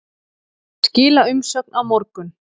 Skila umsögn á morgun